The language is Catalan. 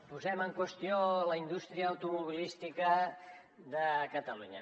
posem en qüestió la indústria automobilística de catalunya